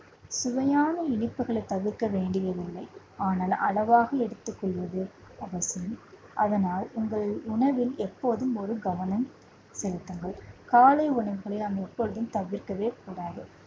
சுவையான இனிப்புகளை தவிர்க்க வேண்டியதில்லை. ஆனால் அளவாக எடுத்துக் கொள்வது அவசியம். அதனால், உங்கள் உணவில் எப்போதும் ஒரு கவனம் செலுத்துங்கள். காலை உணவுகளை நாம் எப்பொழுதும் தவிர்க்கவே கூடாது